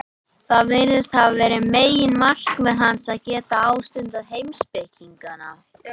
Það virðist hafa verið meginmarkmið hans, að geta ástundað heimspekina.